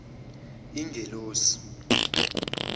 ingelosi